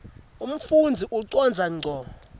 umfundzi ucondza ngco